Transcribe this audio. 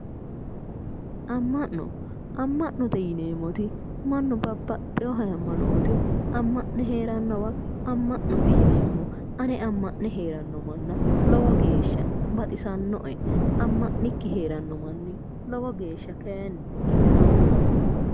Amma'no amma'note yineemmoti mannu babbaxewo haayiimaanoote amma'ne heerannowa amma'note yineemmo. ane amma'ne heeranno manna lowo geeshsha baxisannoe. amma'nikki heerawo manni kaayiinni lowo geeshsha giwisanno.